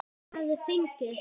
Hún hafði fengið